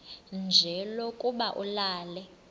nje lokuba ulale